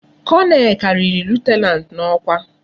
Colonel kariri lieutenant na okwa